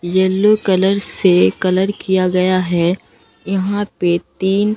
yellow colour से colour किया गया है यहां पे तीन--